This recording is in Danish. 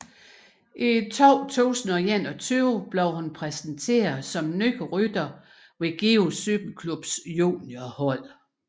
I 2021 blev hun præsenteret som ny rytter hos Give Cykelklubs juniorhold